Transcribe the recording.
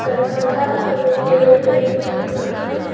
दरवाजा और वेंटीलेटर भी दिख रहा है।